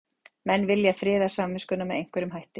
Menn vilja friða samviskuna með einhverjum hætti.